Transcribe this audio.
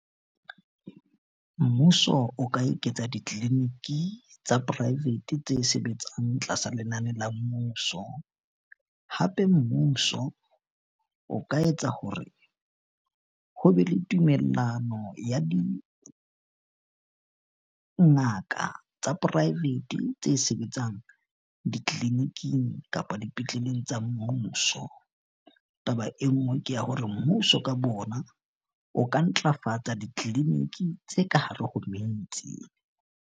Mmuso o ka eketsa di-clinic-i tsa private tse sebetsang tlasa lenane la mmuso. Hape mmuso o ka etsa hore ho be le tumellano ya dingaka tsa private tse sebetsang ditleliniking kapa dipetleleng tsa mmuso. Taba e nngwe ke ya hore mmuso, ka bo ona o ka ntlafatsa di-clinic-i tse ka hare ho metse.